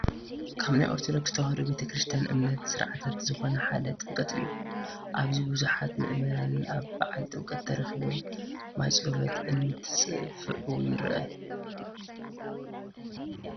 ካብ ናይ ኦርቶዶክስ ተዋህዶ ቤተ ክርስትያን እምነት ስርዓታት ዝኾኑ ሓደ ጥምቀት እዩ፡፡ ኣብዚ ብዙሓት ምእመናን ኣብ በዓል ጥምቀት ተረኺቦም ማይፀሎት እንትፅፉዑ የርኢ፡፡